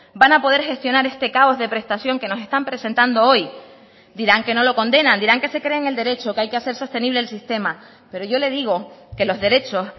van a poder gestionar este caos de prestación que nos están presentando hoy dirán que no lo condenan dirán que se creen el derecho que hay que hacer sostenible el sistema pero yo le digo que los derechos